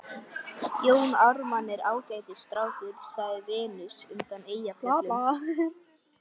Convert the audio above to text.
Jón Ármann er ágætis strákur, sagði Venus undan Eyjafjöllum.